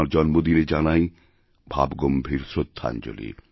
তাঁর জন্মদিনে জানাইভাবগম্ভীর শ্রদ্ধাঞ্জলি